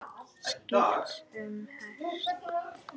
Skipt um hest.